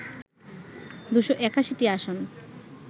২৮১টি আসন